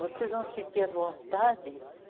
Vocês vão sentir a vontade